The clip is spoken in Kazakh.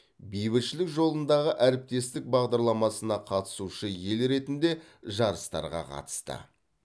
бейбітшілік жолындағы әріптестік бағдарламасына қатысушы ел ретінде жарыстарға қатысты